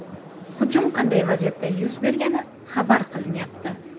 Hujum qanday vaziyatda yuz bergani xabar qilinmayapti.